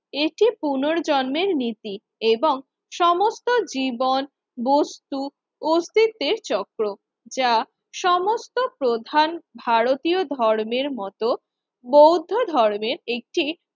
এটি পুনর্জন্মের নীতি এবং সমস্ত জীবন বস্তু অস্তিত্বের চক্র যা সমস্ত প্রধান ভারতীয় ধর্মের মত বৌদ্ধ ধর্মের একটি